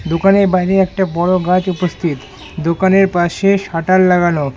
দোকানের বাইরে একটা বড়ো গাছ উপস্থিত দোকানের পাশে শাটার লাগানো।